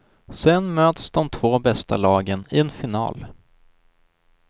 Sedan möts de två bästa lagen i en final.